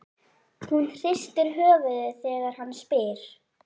Hún hristir höfuðið þegar hann spyr.